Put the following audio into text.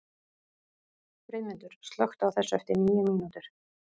Friðmundur, slökktu á þessu eftir níu mínútur.